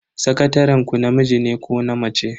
Sakataren ku namiji ne ko na mace?